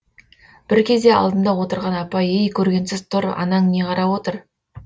бір кезде алдымда отырған апай ей көргенсіз тұр анаң не қарап отыр